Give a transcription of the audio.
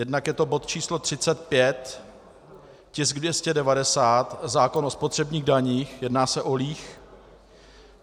Jednak je to bod číslo 35, tisk 290, zákon o spotřebních daních, jedná se o líh.